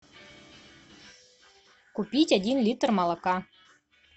купить один литр молока